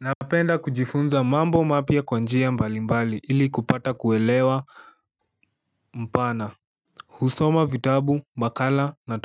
Napenda kujifunza mambo mapya kwa njia mbalimbali ili kupata kuelewa mpana. Husoma vitabu, makala na